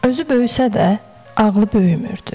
Özü böyüsə də, ağlı böyümürdü.